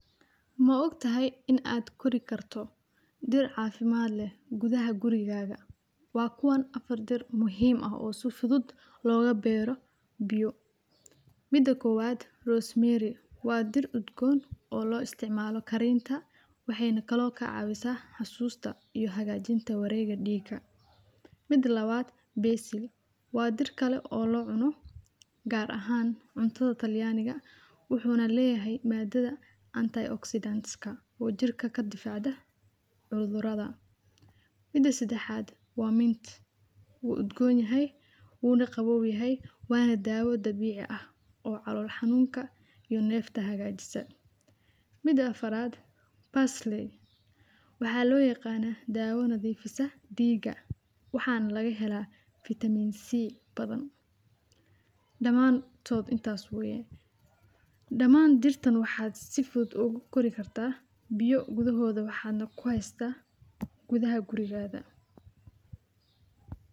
Maogtahay in ad korin karto dir cafimad leh gudaha gurigaga , wa kuwan afar dir muhim ah oo si fudud logabero biyo. Mida kowad rosemary wa dir ugdon oo lo isticmalo karinta, waxay kale oo kacawisaah xasusta iyo hagajinta warega diga. Mida lawad basil wa dir kale oo locuno gar ahaan cuntadha taliyaniga, wuxu na leyahay madadha anti-oxidant]ka oo jirka kadifacda cudurada. Mida sedaxad wa mint uu udgonyahay uu na qawowyahay, wa na dawo dabici ah oo calol xanunka iyo nefta hagajisa. Mida afarad parsley waxaa loyaqana dawada defisah diga waxaa na lagahelaa vitamin c bathan. Damantod intas weye. Daman dirtan waxaa si fudud ugu kori kartah biyo gudahoda waxa na kuhaysatah gudaha gurigatha.